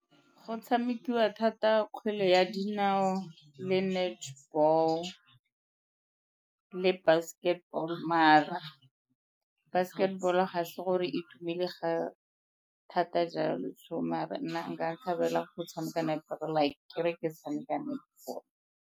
Go tshamekiwa thata kgwele ya dinao le netball le basketball, mara basketball-o ga se gore e tumile ga thata jalo so mara nna nka thabela go tshameka netball-o like ke re ke tshameka netball.